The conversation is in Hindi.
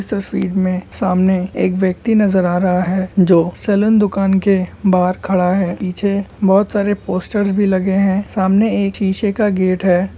इस तस्वीर में सामने एक व्यक्ति नजर आ रहा है जो सैलून दुकान के बाहार खड़ा है पीछे बहत सारे पोस्टर्स भी लगे हैं सामने एक सिसे का गेट है।